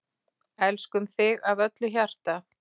Elskum þig af öllu hjarta.